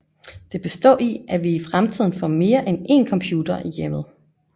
Det består i at vi i fremtiden får mere end én computer i hjemmet